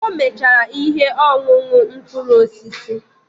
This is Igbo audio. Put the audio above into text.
O mechaala ihe ọṅụṅụ mkpụrụ osisi.